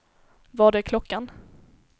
Vad är klockan